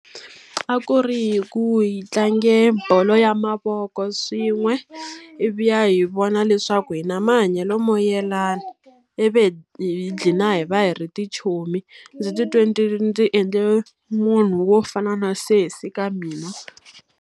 A ku ri hi ku hi tlange bolo ya mavoko swin'we, ivi hi vona leswaku hi na mahanyelo mo yelana. Ivi hi dlhina hi va hi ri tichomi. Ndzi titwe ndzi ndzi endle munhu wo fana na sesi ka mina.